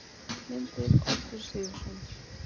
Myndir: Oddur Sigurðsson.